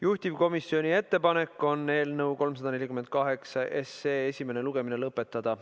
Juhtivkomisjoni ettepanek on eelnõu 348 esimene lugemine lõpetada.